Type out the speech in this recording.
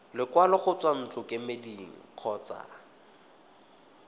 lekwalo go tswa ntlokemeding kgotsa